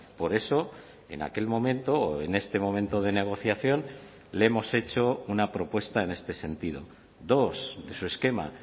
por eso en aquel momento en este momento de negociación le hemos hecho una propuesta en este sentido dos de su esquema